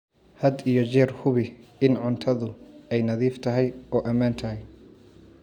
Had iyo jeer hubi in cuntadu ay nadiif tahay oo ammaan tahay.